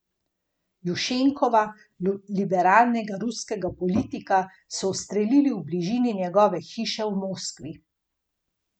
Redno je cerkev upodabljal na svojih originalnih slikah ali risbah.